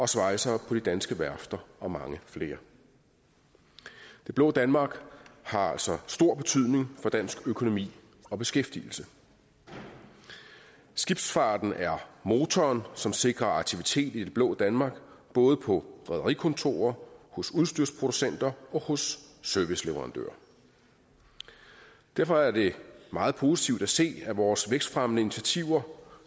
svejsere på de danske værfter og mange flere det blå danmark har altså stor betydning for dansk økonomi og beskæftigelse skibsfarten er motoren som sikrer aktivitet i det blå danmark både på rederikontorer hos udstyrsproducenter og hos serviceleverandører derfor er det meget positivt at se at vores vækstfremmende initiativer